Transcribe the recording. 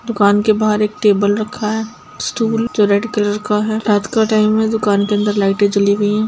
दुकान के बाहर एक टेबल रखा है स्टूल जो रेड कलर का है| रात का टाइम है दुकान के अंदर लाइटे जली हुई है।